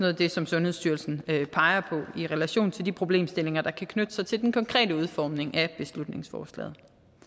af det som sundhedsstyrelsen peger på i relation til de problemstillinger der kan knytte sig til den konkrete udformning af beslutningsforslaget